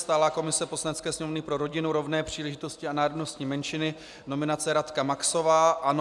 Stálá komise Poslanecké sněmovny pro rodinu, rovné příležitosti a národnostní menšiny - nominace Radka Maxová, ANO.